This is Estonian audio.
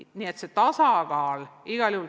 Nii et see tasakaal on vajalik.